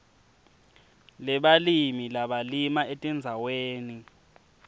lebalimi labalima etindzaweni